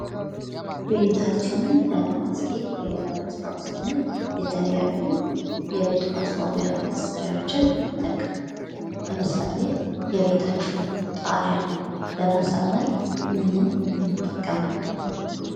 ቤታችንን ለማስጌጥ ወይም ለማስዋብ ስንል የተለያዩ የቤት ማስዋቢያ መሣሪያዎችን እንጠቀማለን። ለምሳሌ የቤታችንን ጣርያ ለማሳመር ምንን እንጠቀማለን?